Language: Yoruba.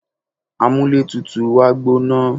amúlé tutù wa gbóná